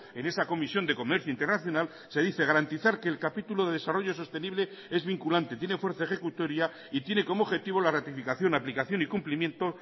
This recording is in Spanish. en esa comisión de comercio internacional se dice garantizar que el capítulo de desarrollo sostenible es vinculante tiene fuerza ejecutoria y tiene como objetivo la ratificación aplicación y cumplimiento